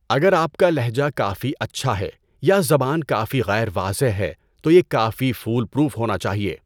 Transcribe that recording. اگر آپ کا لہجہ کافی اچھا ہے، یا زبان کافی غیر واضح ہے، تو یہ کافی فول پروف ہونا چاہیے۔